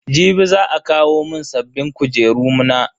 Jibi za a kawo mun sabbin kujeru na.